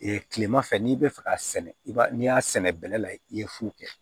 kilema fɛ n'i bɛ fɛ k'a sɛnɛ i b'a n'i y'a sɛnɛ bɛlɛ la i ye fu kɛ